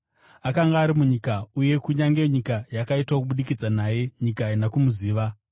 Akanga ari munyika, uye kunyange nyika yakaitwa kubudikidza naye, nyika haina kumuziva.